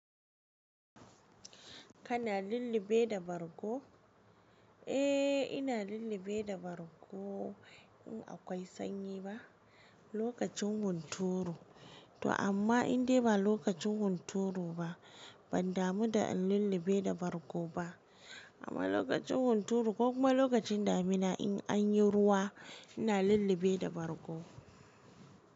Kana lillibe da bargo? Eh, ina lillibe da bargo in akwai sanyi ba, lokacin hunturu. To amma indai ba lokacin hunturu ba, ban damu da in lillibe da bargo ba. Amma lokacin hunturu ko kuma lokacin damina in an yi ruwa, ina lillibe da bargo.